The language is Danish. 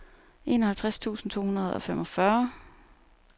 enoghalvtreds tusind to hundrede og femogfyrre